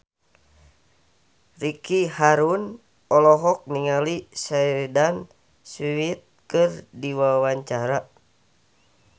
Ricky Harun olohok ningali Sheridan Smith keur diwawancara